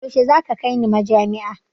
Yaushe za ka kai ni majami'a?